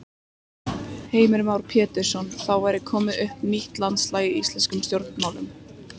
Heimir Már Pétursson: Þá væri komið upp nýtt landslag í íslenskum stjórnmálum?